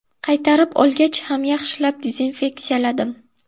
Qaytarib olgach ham yaxshilab dezinfeksiyaladim.